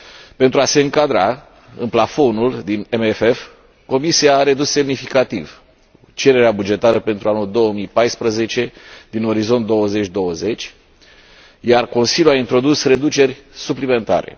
Pentru a se încadra în plafonul din CFM, Comisia a redus semnificativ cererea bugetară pentru anul 2014 din Orizont 2020, iar Consiliul a introdus reduceri suplimentare.